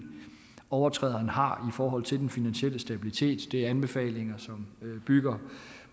overtræderen har i forhold til den finansielle stabilitet det er anbefalinger som bygger